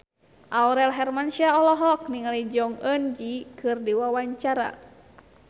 Aurel Hermansyah olohok ningali Jong Eun Ji keur diwawancara